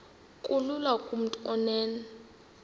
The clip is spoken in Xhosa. kulula kumntu onen